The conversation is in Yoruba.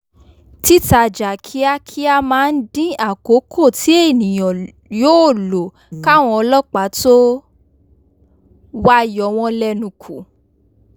títajà kíákíá máa ń dín àkókò tí ènìyàn yóò lò káwọn ọlọ́pàá tó wá yowọ́n lẹ́nu kù